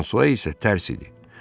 Fransua isə tərs idi.